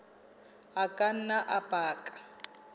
a ka nna a baka